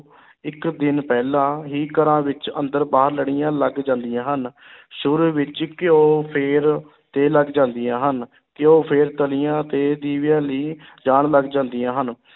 ਇੱਕ ਦਿਨ ਪਹਿਲਾਂ ਹੀ ਘਰਾਂ ਵਿੱਚ ਅੰਦਰ ਬਾਹਰ ਲੜੀਆਂ ਲੱਗ ਜਾਂਦੀਆਂ ਹਨ ਸ਼ੁਰੂ ਵਿੱਚ ਘਿਓ ਫਿਰ ਤੇਲ ਜਲਦੀਆਂ ਹਨ, ਘਿਓ ਫਿਰ ਤਲੀਆਂ ਤੇ ਦੀਵਿਆਂ ਲਈ ਜਾਣ ਲੱਗ ਜਾਂਦੀਆਂ ਹਨ।